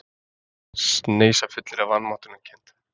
Sneisafullir af vanmáttarkennd.